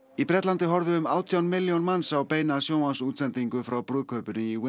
í Bretlandi horfðu um átján milljón manns á beina sjónvarpsútsendingu frá brúðkaupinu í